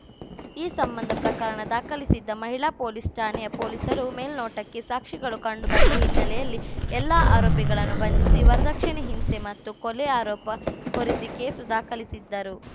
ಈ ಸಂಬಂಧ ಪ್ರಕರಣ ದಾಖಲಿಸಿದ್ದ ಮಹಿಳಾ ಪೊಲೀಸ್‌ ಠಾಣೆಯ ಪೊಲೀಸರು ಮೇಲ್ನೋಟಕ್ಕೆ ಸಾಕ್ಷಿಗಳು ಕಂಡು ಬಂದ ಹಿನ್ನೆಲೆಯಲ್ಲಿ ಎಲ್ಲಾ ಆರೋಪಿಗಳನ್ನು ಬಂಧಿಸಿ ವರದಕ್ಷಿಣೆ ಹಿಂಸೆ ಮತ್ತು ಕೊಲೆ ಆರೋಪ ಹೊರಿಸಿ ಕೇಸು ದಾಖಲಿಸಿದ್ದರು